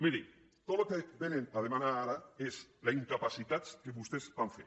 miri tot el que vénen a demanar ara és la incapacitat que vostès van fer